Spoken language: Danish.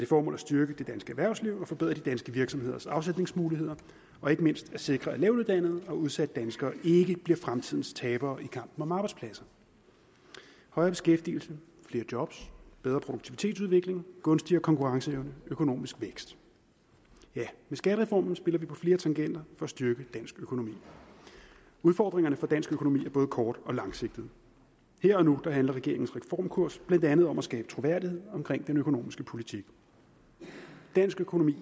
formål at styrke det danske erhvervsliv forbedre de danske virksomheders afsætningsmuligheder og ikke mindst sikre at lavtuddannede og udsatte danskere ikke bliver fremtidens tabere i kampen om arbejdspladser højere beskæftigelse flere job bedre produktivitetsudvikling gunstigere konkurrenceevne økonomisk vækst med skattereformen spiller vi på flere tangenter for at styrke dansk økonomi udfordringerne for dansk økonomi er både kort og langsigtede her og nu handler regeringens reformkurs blandt andet om at skabe troværdighed omkring den økonomiske politik dansk økonomi